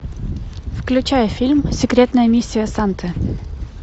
включай фильм секретная миссия санты